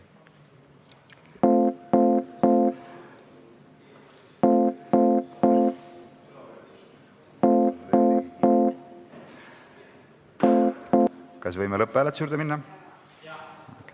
Kas võime lõpphääletuse juurde minna?